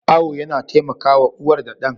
Awo yana taimakawa uwar da ɗan.